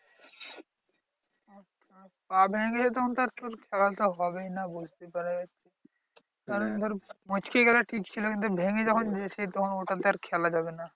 পা ভেঙ্গে গেছে তখন তো আর চোট খেলা তো হবেই না বুঝতেই পারা যাচ্ছে। কারণ ধর মুচকে গেলে ঠিক ছিল কিন্তু ভেঙ্গে যখন গেছে তখন ওটাতে আর খেলা যাবে না।